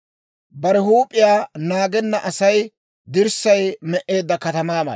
Bare huup'iyaa naagenna Asay dirssay me"eedda katamaa mala.